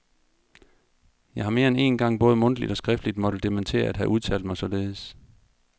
Jeg har mere end én gang både mundtligt og skriftligt måtte dementere at have udtalt mig således.